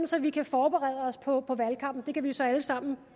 så vi kan forberede os på valgkampen det kan vi jo så alle sammen